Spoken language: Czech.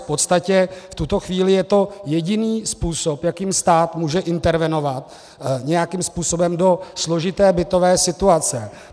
V podstatě v tuto chvíli je to jediný způsob, jakým stát může intervenovat nějakým způsobem do složité bytové situace.